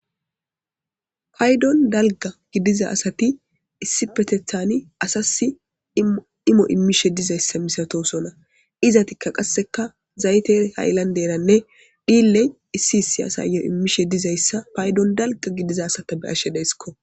paydon dalga gidiza asati issi petethani asasi imo immishe dizayssa misatosona izatikka qasseka zayte hayllan deranne dhilley issi issi asayyo immishe dizayssa paydon dalga gidiza asata be ashe deysikko